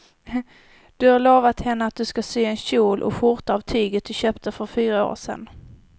Du har lovat henne att du ska sy en kjol och skjorta av tyget du köpte för fyra år sedan.